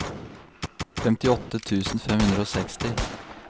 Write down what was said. femtiåtte tusen fem hundre og seksti